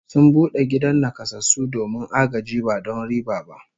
Sun bude gidan nakasassu domin agaji ba don riba ba